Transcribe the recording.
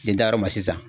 N'i taara ma sisan